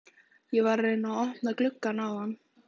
Ég var að reyna að opna gluggann áðan.